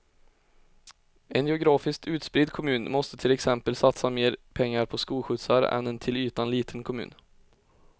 En geografiskt utspridd kommun måste till exempel satsa mer pengar på skolskjutsar än en till ytan liten kommun.